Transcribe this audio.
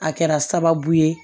A kɛra sababu ye